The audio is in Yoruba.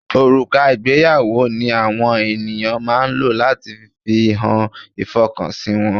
Òrùka ìgbéyàwó ni àwọn ènìyàn máa ń lò láti fi hàn ìfọkànsìn wọn.